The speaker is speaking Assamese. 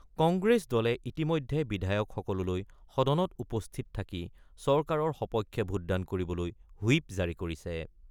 কংগ্ৰেছ দলে ইতিমধ্যে বিধায়কসকললৈ সদনত উপস্থিত থাকি চৰকাৰৰ সপক্ষে ভোটদান কৰিবলৈ হুইপ জাৰী কৰিছে।